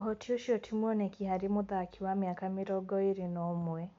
ũhoti ũcio ti mwoneki harĩ mũthaki wa mĩaka mĩrongo ĩrĩ na ũmwe.